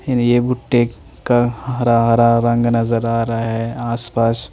हिन ये बूट्टेक का हरा हरा रंग नज़र आ रहा है आस पास--